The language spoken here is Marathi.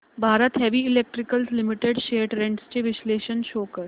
Bharat heavy electricals limited shares trends चे विश्लेषण शो कर